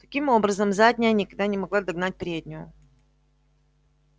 таким образом задняя никогда не могла догнать переднюю